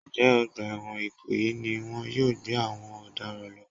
Ǹjẹ́ ọgbà ẹ̀wọ̀n ìkòyí ni wọn yóò gbé àwọn ọ̀daràn lọ?